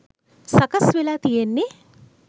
සකස් වෙලා තියෙන්නේ.